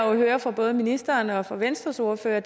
jo hører fra både ministeren og fra venstres ordfører